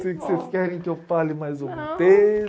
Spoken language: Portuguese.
Que vocês querem que eu fale mais algum